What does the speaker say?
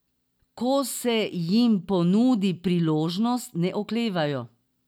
Ko se jim ponudi priložnost, ne oklevajo.